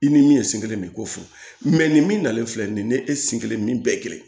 I ni min ye sen kelen de ko fɔ nin min nalen filɛ nin ye nin ye e sen kelen min bɛɛ kelen ye